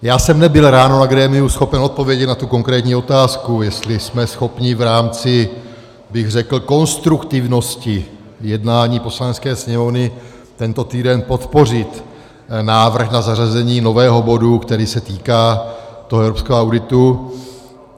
Já jsem nebyl ráno na grémiu schopen odpovědět na tu konkrétní otázku, jestli jsme schopni v rámci bych řekl konstruktivnosti jednání Poslanecké sněmovny tento týden podpořit návrh na zařazení nového bodu, který se týká toho evropského auditu.